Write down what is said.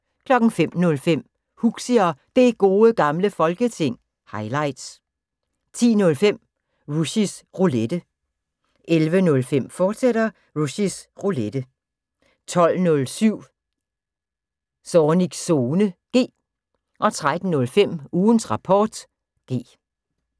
05:05: Huxi og Det Gode Gamle Folketing – highlights 10:05: Rushys Roulette 11:05: Rushys Roulette, fortsat 12:07: Zornigs Zone (G) 13:05: Ugens Rapport (G)